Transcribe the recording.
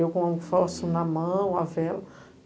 Eu com o fósforo na mão, a vela.